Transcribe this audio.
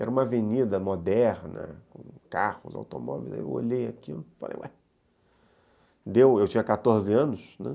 Era uma avenida moderna, com carros, automóveis, aí eu olhei aquilo e falei, ué, eu tinha quatorze anos, né?